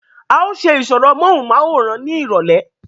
à ó ṣe ìsọ̀rọ̀ móhùnmáwòrán ní ìrọ̀lẹ̀